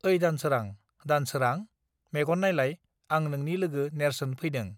ओइ दानसोंरा दानसोरां मेगन नायलाय आं नोंनि लोगो नेर्सोन फैदों